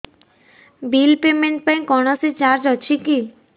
bill payment ପାଇଁ କୌଣସି charge ଅଛି କି